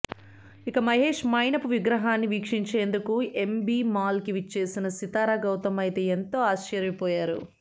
ఇక మహేష్ మైనపు విగ్రహాన్ని వీక్షించేందుకు ఏఎంబీ మాల్ కి విచ్చేసిన సితార గౌతమ్ అయితే ఎంతో ఆశ్చర్యపోయారు